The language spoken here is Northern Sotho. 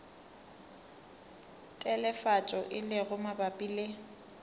telefatšo e lego mabapi le